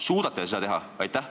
Suudate te seda teha?